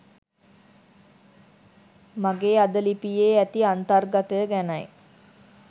මගේ අද ලිපියේ ඇති අන්තර්ගතය ගැනයි.